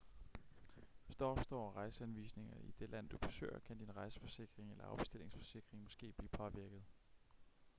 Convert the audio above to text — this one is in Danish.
hvis der opstår rejseanvisninger i det land du besøger kan din rejseforsikring eller afbestillingsforsikring måske blive påvirket